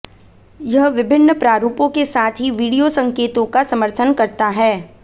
यह विभिन्न प्रारूपों के साथ ही वीडियो संकेतों का समर्थन करता है